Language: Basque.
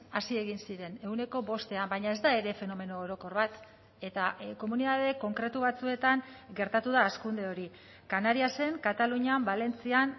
hazi egin ziren ehuneko bostean baina ez da ere fenomeno orokor bat eta komunitate konkretu batzuetan gertatu da hazkunde hori canariasen katalunian valentzian